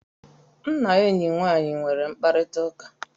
M na enyi nwaanyị nwere mkparịta ụka